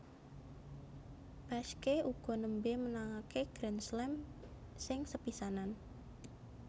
Peschke uga nembé menangaké Grand Slam sing sepisanan